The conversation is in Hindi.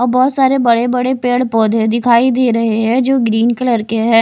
और बहोत सारे बड़े बड़े पेड़ पौधे दिखाई दे रहे हैं जो ग्रीन कलर के हैं।